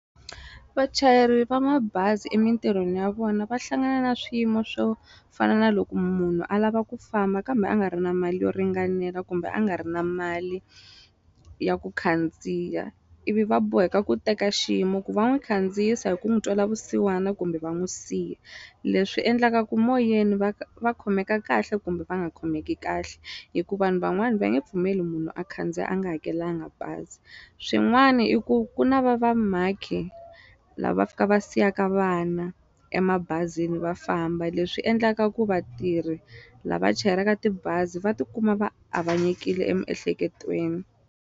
Vachayeri va mabazi emintirhweni ya vona va hlangana na swiyimo swo fana na loko munhu a lava ku famba kambe a nga ri na mali yo ringanela kumbe a nga ri na mali ya ku khandziya ivi va boheka ku teka xiyimo ku va n'wi khandziyisa hi ku n'wi twela vusiwana kumbe va n'wi siya leswi endlaka ku moyeni va va khomeka kahle kumbe va nga khomeki kahle hi ku vanhu van'wani va nge pfumeli munhu a khandziya a nga hakelanga bazi swin'wana i ku ku na vamhakhi lava va fika va siyaka vana emabazini va famba leswi endlaka ku vatirhi lava chayelaka tibazi va tikuma va avanyekile emiehleketweni.